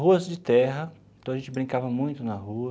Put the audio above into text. Ruas de terra, então a gente brincava muito na rua.